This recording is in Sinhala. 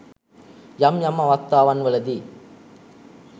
යම් යම් අවස්ථාවන්වලදී